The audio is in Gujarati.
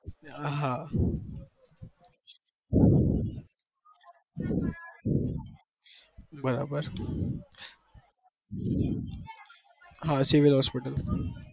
હા બરાબર હા civel hospital